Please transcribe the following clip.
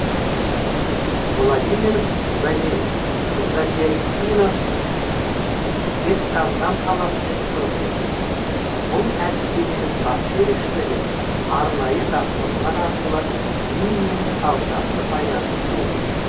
владимир задесинов жезқазған қаласының тұрғыны бұл әдістеменің басты ерекшелігі арнайы жаттығулар арқылы ми мен саусақты байланыстыру